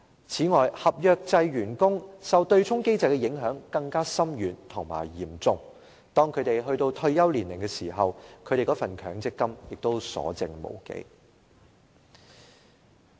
此外，合約制員工受對沖機制的影響更為深遠和嚴重，當他們到達退休年齡時，其強積金結餘亦所剩無幾。